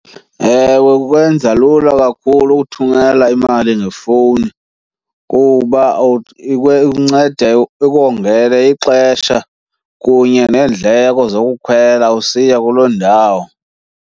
Ewe, kukwenza lula kakhulu ukuthumela imali ngefowuni kuba ikunceda ikongele ixesha kunye neendleko zokukhwela usiya kuloo ndawo.